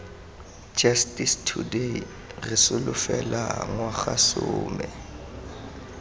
justice today re solofela ngwagasome